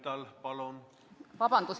Vabandust!